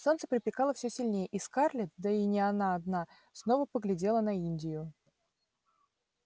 солнце припекало всё сильнее и скарлетт да и не она одна снова поглядела на индию